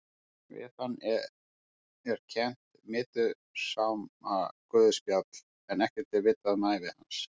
Við hann er kennt Matteusarguðspjall en ekkert er vitað um ævi hans.